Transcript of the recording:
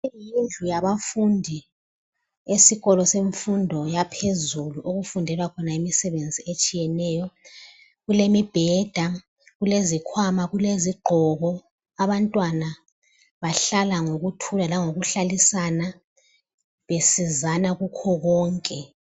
Leyi yiyo indlu yabafundi esikolo semfundo yaphezulu, okufundelwa khona imisebenzi etshiyeneyo. Kulemibheda, kulezikhwama , kulezigqoko. Abantwana bahlala ngokuthula langokuhlalisana, besizana kukho konke.